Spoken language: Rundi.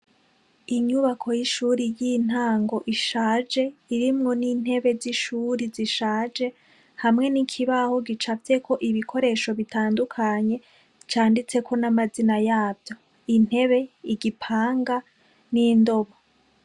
Inyubako y'ishure y'intango ishaje, irimwo n'intebe z'ishure zishaje, hamwe n'ikibaho gicafyeko ibikoresho bitandukanye canditseko n'amazina yavyo, intebe, igipanga n'indobo.